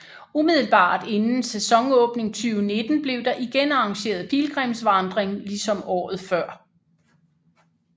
Umiddelbart inden sæsonenåbning 2019 blev der igen arrangeret pilgrimsvandring ligesom året før